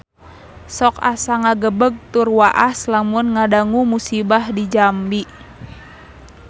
Sok asa ngagebeg tur waas lamun ngadangu musibah di Jambi